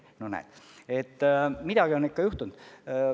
No näed, midagi on ikka juhtunud.